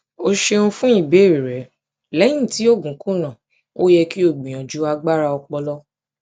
o ṣeun fun ibeere rẹ lẹhin ti oogun kuna o yẹ ki o gbiyanju agbara ọpọlọ